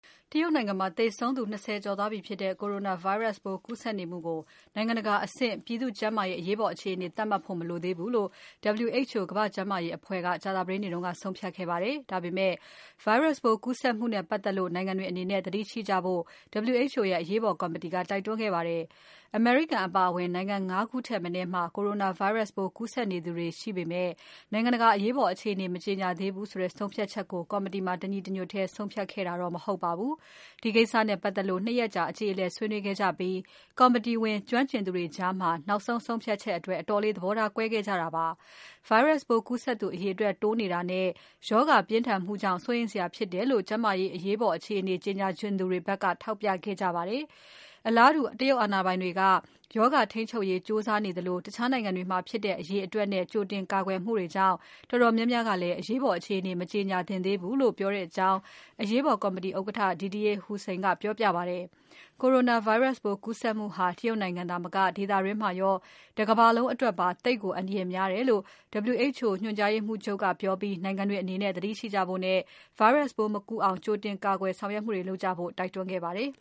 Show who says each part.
Speaker 1: တရုတ်နိုင်ငံမှာ လူပေါင်း ၂၀ ကျော်သေဆုံးနေတဲ့ Coronavirus ပိုးကူးစက်နေမှုကို နိုင်ငံတကာအဆင့် ပြည်သူ့ကျန်းမာရေး အရေးပေါ်အခြေအနေအဆင့် သတ်မှတ်ဖို့ မလိုသေးဘူးလို့ WHO ကမ္ဘာ့ကျန်းမာရေးအဖွဲ့ ကြာသပတေးနေ့က ဆုံးဖြတ်ခဲ့ပါတယ်။ ဒါပေမဲ့ Virus ပိုးကူးစက်မှုနဲ့ပတ်သက်လို့ နိုင်ငံတွေအနေနဲ့ သတိရှိကြဖို့ WHO ရဲ့ အရေးပေါ်ကော်မတီက တိုက်တွန်းခဲ့ပါတယ်။ အမေရိကန်ပါအဝင် နိုင်ငံ ၅ ခုထက်မနည်းမှာ Coronavirus ပိုးကူးစက်နေသူတွေကို ရှိနေေပမဲ့ နိုင်ငံတကာ အရေးပေါ် အခြေအနေ မကြေညာသေးဘူးဆိုတဲ့ ဆုံးဖြတ်ချက်ကို ကော်မတီမှာ တညီတညွတ်ထဲ ဆုံးဖြတ်ခဲ့တာတော့ မဟုတ်ပါဘူး။ ဒီကိစ္စနဲ့ပတ်သက်လို့ ၂ ရက်အကြေအလည် ဆွေးနွေးခဲ့ကြပြီး ကော်မတီဝင် ကျွမ်းကျင်သူတွေကြား နောက်ဆုံး ဆုံးဖြတ်ချက်အတွက် အတော်လေး သဘောထား ကွဲခဲ့ကြတာပါ။ Virus ပိုးကူးစက်သူ အရေအတွက်တိုးနေတာနဲ့ ရောဂါပြင်းထန်မှုကြောင့် စိုးရိမ်စရာဖြစ်တယ်လို့ ကျန်းမာရေးအရေးပေါ် အခြေအနေ ကြေညာချင်သူတွေဘက်က ထောက်ပြခဲ့ကြပါတယ်။ အလားတူ တရုတ်အာဏာပိုင်တွေက ရောဂါထိန်းချုပ်ရေး ကြိုးစားနေကြသလို၊ တခြားနိုင်ငံတွေမှာ ဖြစ်တဲ့အရေအတွက်နဲ့ ကြိုတင်ကာကွယ်မှုတွေကြောင့် တော်တော်များများကလည်း အရေးပေါ် အခြေအနေ မကြေညာသင့်သေးဘူးလို့ ပြောကြကြောင်း အရေးပေါ် ကော်မတီဥက္ကဋ္ဌ Didier Houssin ကပြောပြပါတယ်။ Coronavirus ပိုး ကူးစက်မှုဟာ တရုတ်နိုင်ငံသာမက ဒေသတွင်းမှာရော တကမ္ဘာလုံးအတွက်ပါ သိပ်ကို အန္တရာယ်များတယ်လို့ WHO ညွှန်ကြားရေးမှူးချုပ်က ပြောပြီး နိုင်ငံတွေအနေနဲ့ သတိရှိကြဖို့နဲ့ Virus ပိုးမကူးအောင် ကြိုတင်ကာကွယ်ဆောင်ရွက်မှုတွေ လုပ်ကြဖို့ တိုက်တွန်းခဲ့ပါတယ်